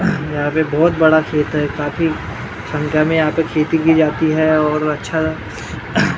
यहां पे बहोत बड़ा खेत है काफी संख्या में यहां पे खेती की जाती है और अच्छा--